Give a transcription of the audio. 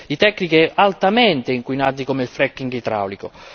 tecniche altamente inquinanti come il fracking idraulico.